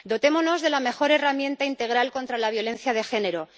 Dotémonos de la mejor herramienta integral contra la violencia de género